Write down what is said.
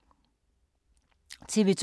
TV 2